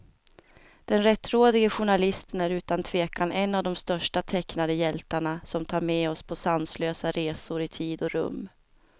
Den rättrådige journalisten är utan tvekan en av de största tecknade hjältarna, som tar med oss på sanslösa resor i tid och rum.